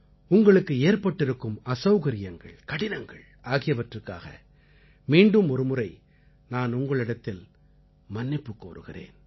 உங்களுக்கு ஏற்பட்டிருக்கும் அசௌகரியங்கள் கடினங்கள் ஆகியவற்றுக்காக மீண்டும் ஒருமுறை நான் உங்களிடத்தில் மன்னிப்புக் கோருகிறேன்